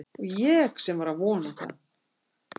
Og ég sem var að vona það